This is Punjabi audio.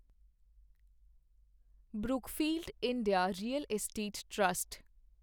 Brookfield India Real Estate trust